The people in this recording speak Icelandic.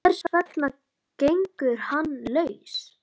Hvers vegna gengur hann laus?